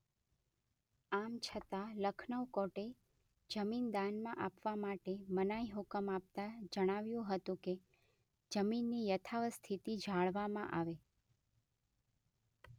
આમ છતાં લખનૌ કોર્ટે જમીન દાનમાં આપવા માટે મનાઇહુકમ આપતા જણાવ્યું હતું કે જમીનની યથાવત સ્થિતિ જાળવામાં આવે.